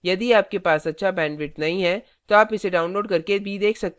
यदि आपके पास अच्छा bandwidth नहीं है तो आप इसे download करके भी देख सकते हैं